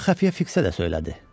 Bunu xəfiyyə fiksə də söylədi.